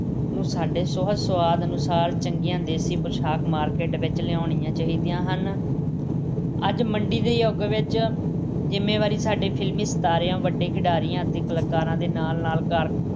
ਨੂੰ ਸਾਡੇ ਸੁਹਜ-ਸੁਆਦਾਂ ਅਨੁਸਾਰ ਚੰਗੀਆਂ ਦੇਸੀ ਪੁਸ਼ਾਕਾਂ ਮਾਰਕੀਟ ਵਿੱਚ ਲਿਆਉਣੀਆਂ ਚਾਹੀਦੀਆਂ ਹਨ। ਅੱਜ ਮੰਡੀ ਦੇ ਯੁੱਗ ਵਿੱਚ ਜ਼ਿੰਮੇਵਾਰੀ ਸਾਡੇ ਫਿਲਮੀ ਸਿਤਾਰਿਆਂ, ਵੱਡੇ ਖਿਡਾਰੀਆਂ ਅਤੇ ਕਲਾਕਾਰਾਂ ਦੇ ਨਾਲ-ਨਾਲ ਕਾਰ-